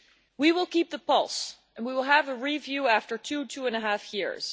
We will keep the pulse and we will have a review after two two and a half years.